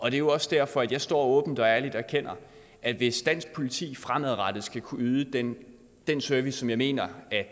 er jo også derfor jeg står åbent og ærligt og erkender at hvis dansk politi fremadrettet skal kunne yde den den service som jeg mener at